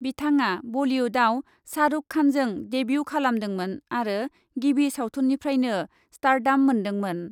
बिथाङा बलिउडआव शाहरुख खानजों डेब्यु खालामदोंमोन आरो गिबि सावथुननिफ्रायनो स्टार्डाम मोन्दोंमोन।